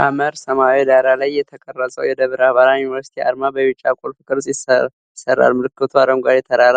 ሐመር ሰማያዊ ዳራ ላይ የተቀረጸው የደብረ ብርሃን ዩኒቨርሲቲ አርማ በቢጫ ቁልፍ ቅርጽ ይሰራል። ምልክቱ አረንጓዴ ተራራ፣